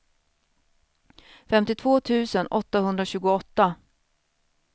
femtiotvå tusen åttahundratjugoåtta